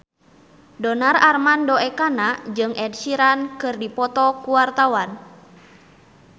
Donar Armando Ekana jeung Ed Sheeran keur dipoto ku wartawan